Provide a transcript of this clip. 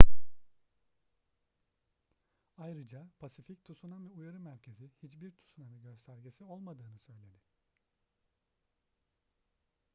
ayrıca pasifik tsunami uyarı merkezi hiçbir tsunami göstergesi olmadığını söyledi